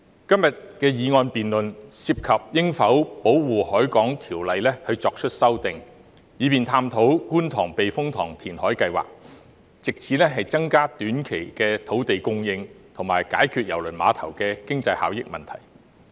今天的議案辯論涉及應否對《條例》作出修訂，以便探討觀塘避風塘填海計劃，藉此增加短期土地供應，以及解決郵輪碼頭的經濟效益問題。